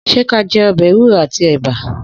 Sẹ kà jẹ ọ̀bẹ ẹwùro àtí ẹbà?